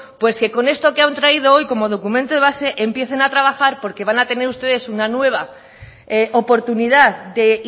pues con esto que han traído hoy como documento de base empiecen a trabajar porque van a tener ustedes una nueva oportunidad de